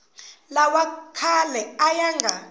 lawa khale a ya nga